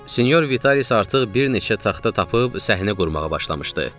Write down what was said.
Sinyor Vitalis artıq bir neçə taxta tapıb səhnə qurmağa başlamışdı.